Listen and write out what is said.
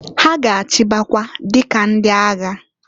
Ha ga-achịbakwa dika ndị agha.